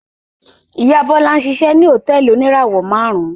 Ìyá Bọ́lá ń ṣiṣẹ́ ní hòtẹ́ẹ́lì oníràwọ̀-márùn-ún.